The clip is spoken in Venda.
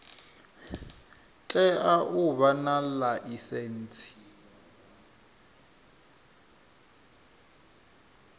tea u vha na ḽaisentsi